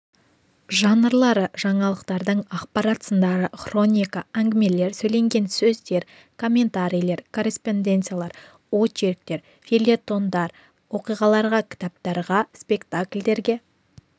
жанрлары жаңалықтардың ақпарат сындары хроника әңгімелер сөйленген сөздер комментарийлер корреспонденциялар очерктер фельетондар оқиғаларға кітаптарға спектакльдерге